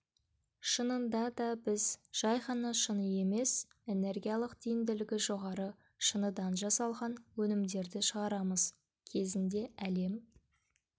шынында да біз жай ғана шыны емес энергиялық тиімділігі жоғары шыныдан жасалған өнімдерді шығарамыз кезінде әлем